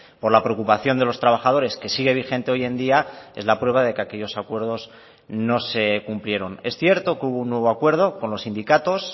por la preocupación de los trabajadores que sigue vigente hoy en día es la prueba de que aquellos acuerdos no se cumplieron es cierto que hubo un nuevo acuerdo con los sindicatos